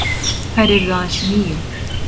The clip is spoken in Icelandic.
Þær yrðu aðeins níu.